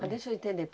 Mas deixa eu entender.